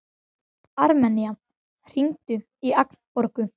Armenía, hringdu í Agnborgu.